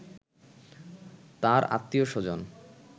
তার আত্মীয়-স্বজন